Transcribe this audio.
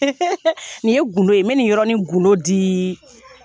Nin ye gundo ye, n bɛ nin yɔrɔ ni gundo dii